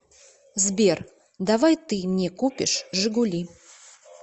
сбер давай ты мне купишь жигули